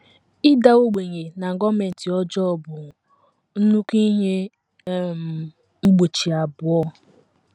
Ịda ogbenye na gọọmenti ọjọọ bụ nnukwu ihe um mgbochi abụọ.